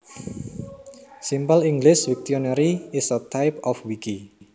Simple English Wiktionary is a type of wiki